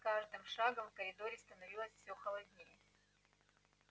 с каждым шагом в коридоре становилось все холоднее